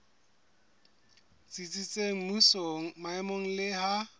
tsitsitseng mmusong maemong le ha